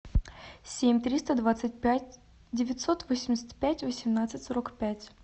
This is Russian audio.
семь триста двадцать пять девятьсот восемьдесят пять восемнадцать сорок пять